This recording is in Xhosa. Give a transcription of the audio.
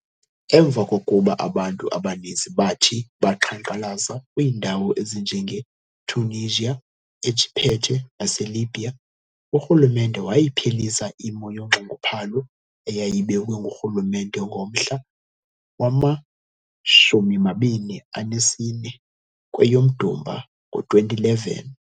Emva kokuba abantu abaninzi baathi baqhankqalaza, kwiindawo ezinjenge-Tunisia, eJiphethe, nase-Libya, urhulumente wayiphelisa imo yonxunguphalo eyayibekwe ngurhulumente ngomhla wama-24 kweyomDumba ngo-2011.